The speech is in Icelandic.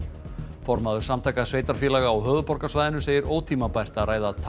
formaður Samtaka sveitarfélaga á höfuðborgarsvæðinu segir ótímabært að ræða